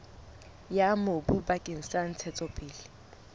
ya mobu bakeng sa ntshetsopele